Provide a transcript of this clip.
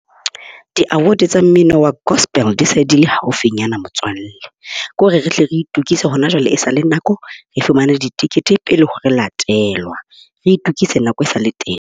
Di-award tsa mmino wa gospel di se di le haufinyana, motswalle. Ko re re hle re itokise hona jwale esale nako. Re fumane ditekete pele ho re latelwa. Re itukise nako e sa le teng.